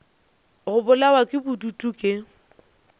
go bolawa ke bodutu ke